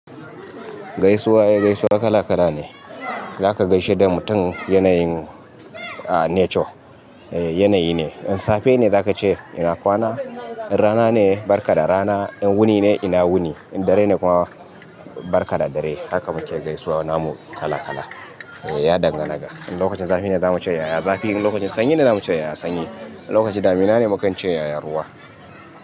Gaisuwa, gaisuwa kala kala ne. Zaka gaishe da mutum yanayin nature. Eh yanayi ne. In safe ne zaka ce ina kwana, in rana ne barka da rana, in wuni ne ina wuni, in dare ne kuma barka da dare. Haka muke gaisuwa namu kala kala. Eh ya dangana ga. In lokacin zafi ne zamu ce yaya zafi, in lokacin sanyi ne zamu ce yaya sanyi, in lokacin damina ne mukan ce yaya ruwa.